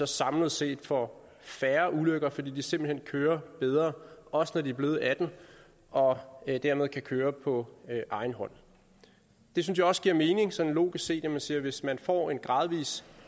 samlet set får færre ulykker fordi de simpelt hen kører bedre også når de er blevet atten år og dermed kan køre på egen hånd jeg synes også det giver mening sådan logisk set at sige at hvis man får en gradvis